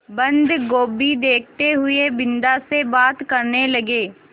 बन्दगोभी देखते हुए बिन्दा से बात करने लगे